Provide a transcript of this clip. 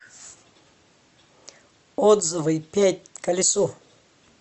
отзывы пять колесо